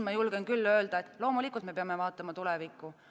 Ma julgen küll öelda, et loomulikult me peame vaatama tulevikku.